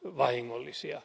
vahingollisia.